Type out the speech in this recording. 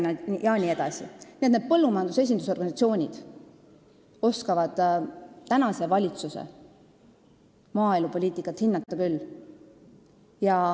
Nii et põllumajanduse esindusorganisatsioonid oskavad tänase valitsuse maaelupoliitikat hinnata küll.